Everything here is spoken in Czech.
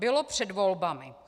Bylo před volbami.